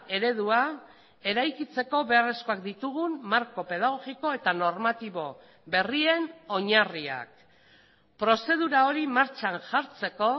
eredua eraikitzeko beharrezkoak ditugun marko pedagogiko eta normatibo berrien oinarriak prozedura hori martxan jartzeko